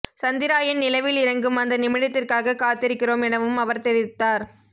சந்திராயன் நிலவில் இறங்கும் அந்த நிமிடத்திற்காக காத்திருக்கிறோம் எனவும் அவர் தெரிவித்தார்